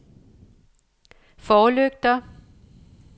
forlygter